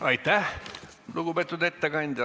Aitäh, lugupeetud ettekandja!